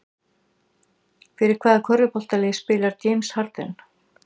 Fyrir hvaða körfuboltalið spilar James Harden?